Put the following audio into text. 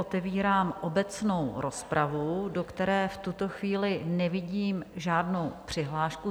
Otevírám obecnou rozpravu, do které v tuto chvíli nevidím žádnou přihlášku.